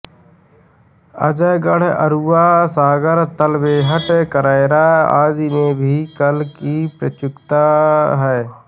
अजयगढ़ बरुआ सागर तालबेहट करैरा आदि में भी कला की प्रचुरता है